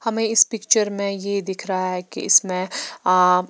हमें इस पिक्चर में ये दिख रहा है कि इसमें अ--